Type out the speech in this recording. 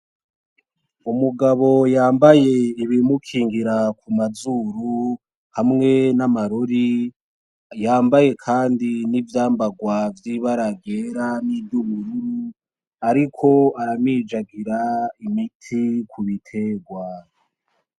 Umugabo yambaye ibimukingira ku mazuru hamwe n'amarori, yambaye kandi n'ivyambagwa ry'ibara ryera niry'ubururu, ariko aramijagira imiti ku bitegwa.